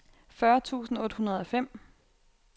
fyrre tusind otte hundrede og fem